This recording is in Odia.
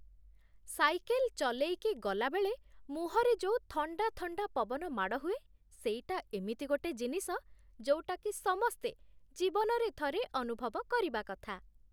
ସାଇକେଲ୍ ଚଲେଇକି ଗଲାବେଳେ ମୁହଁରେ ଯୋଉ ଥଣ୍ଡା ଥଣ୍ଡା ପବନ ମାଡ଼ ହୁଏ, ସେଇଟା ଏମିତି ଗୋଟେ ଜିନିଷ, ଯୋଉଟାକି ସମସ୍ତେ ଜୀବନରେ ଥରେ ଅନୁଭବ କରିବା କଥା ।